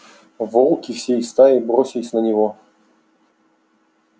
волки всей стаей бросились на него